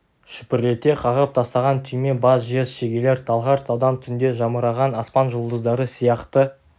шүпірлете қағып тастаған түйме бас жез шегелер талғар таудан түнде жамыраған аспан жұлдыздары сияқты